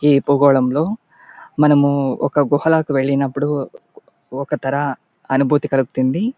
ఏ భూగోళంలో మనము ఒక గుహలోకి వెళ్ళినప్పుడు ఒక తర అనుభూతి కలుగుతుంది.